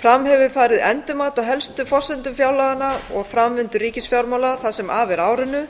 fram hefur farið endurmat á helstu forsendum fjárlaganna og framvindu ríkisfjármála það sem af er árinu